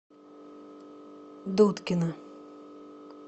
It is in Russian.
дудкина